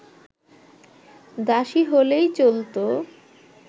দাসী হলেই চলতো